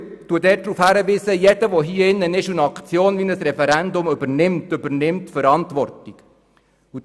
Zudem weise ich darauf hin, dass jeder hier im Grossen Rat, der eine Aktion wie ein Referendum übernimmt, dafür die Verantwortung trägt.